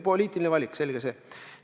Poliitiline valik – selge see.